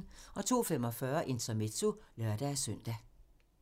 02:45: Intermezzo (lør-søn)